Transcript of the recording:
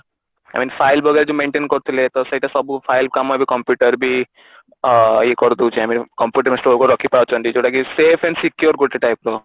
I mean file ବଗେରା ଯୋଉ maintain କରୁଥିଲେ ତ ସବୁ file କାମ ଏବେ computer ବି ଅ ଇଏ କରିଦଉଛି I mean computer ରେ ଆମେ ସ୍ଟୋର କରିକି ରଖି ପାରୁଛନ୍ତି ଯୋଉଟା କି safe and secure ଗୋଟେ type ର